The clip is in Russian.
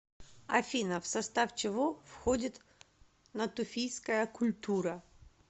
афина в состав чего входит натуфийская культура